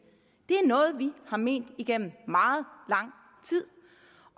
er noget vi har ment igennem meget lang tid